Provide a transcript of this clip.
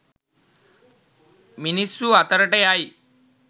මිනිස්සු අතරට යයි